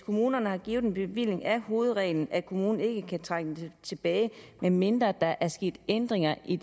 kommunerne har givet en bevilling er hovedreglen at kommunen ikke kan trække den tilbage medmindre der er sket ændringer i